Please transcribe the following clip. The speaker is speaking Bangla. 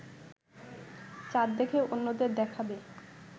চাঁদ দেখে অন্যদের দেখাবে